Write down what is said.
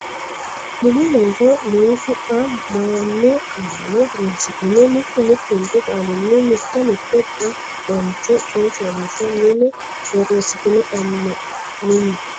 Mini Looso noota xa maano qaalla horonsidhine mittu mittunku qaalinni mitte mitte xa maancho coy fooliishsho mine borreessitine amme Mini.